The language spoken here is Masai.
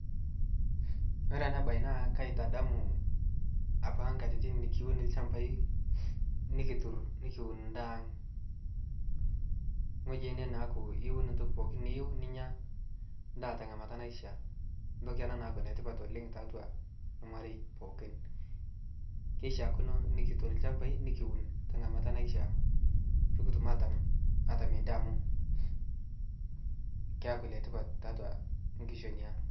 kore anaa bai naa kaitadamuu apaa nkatitin nikiwun lshampai nikitur nikiwun ndaa aang nghoji enee naaku iwun ntokii pooki niyeu ninyaa ndaa te ngamataa naishia ntoki anaa naaku netipat taatua lmarei pookin keishiakinoo nikitur lshampai nikiwun te ngamata naishia pikitum atam atamie ndaa amu keakuu letipat tiatua nkishonii aang